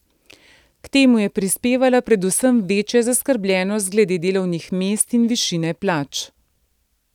K temu je prispevala predvsem večja zaskrbljenost glede delovnih mest in višine plač.